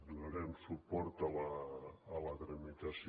donarem suport a la tramitació